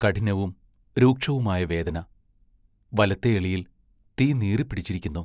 കഠിനവും രൂക്ഷവുമായ വേദന വലത്തെ എളിയിൽ തീ നീറിപ്പിടിച്ചിരിക്കുന്നു.